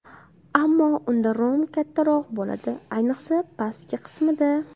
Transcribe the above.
Ammo unda rom kattaroq bo‘ladi, ayniqsa pastki qismida.